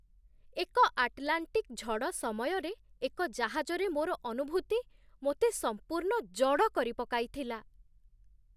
ଏକ ଆଟଲାଣ୍ଟିକ୍ ଝଡ଼ ସମୟରେ ଏକ ଜାହାଜରେ ମୋର ଅନୁଭୂତି ମୋତେ ସମ୍ପୂର୍ଣ୍ଣ ଜଡ଼ କରିପକାଇଥିଲା!